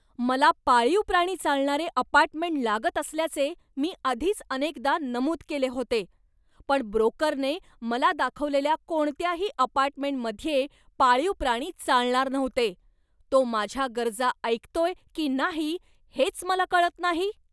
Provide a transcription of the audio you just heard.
मला पाळीव प्राणी चालणारे अपार्टमेंट लागत असल्याचे मी आधीच अनेकदा नमूद केले होते. पण ब्रोकरने मला दाखवलेल्या कोणत्याही अपार्टमेंटमध्ये पाळीव प्राणी चालणार नव्हते. तो माझ्या गरजा ऐकतोय की नाही हेच मला कळत नाही.